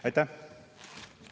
Aitäh!